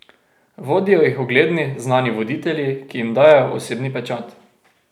Vodijo jih ugledni, znani voditelji, ki jim dajejo osebni pečat.